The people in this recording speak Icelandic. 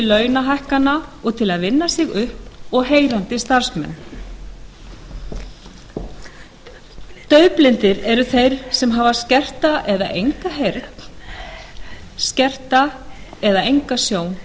launahækkana og þess að vinna sig upp og heyrandi starfsmenn daufblindir eru þeir sem hafa skerta eða enga heyrn og skerta eða enga sjón